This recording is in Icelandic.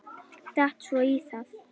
Datt svo í það.